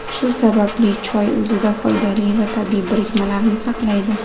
Shu sababli choy o‘zida foydali va tabiiy birikmalarni saqlaydi.